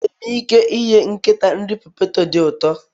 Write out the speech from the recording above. Enwere m ike inye nkịta nri poteto dị ụtọ